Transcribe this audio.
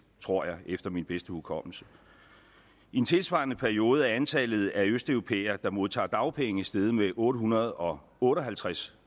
tror jeg efter min bedste hukommelse i en tilsvarende periode er antallet af østeuropæere der modtager dagpenge steget med otte hundrede og otte og halvtreds